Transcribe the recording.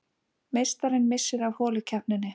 Meistarinn missir af holukeppninni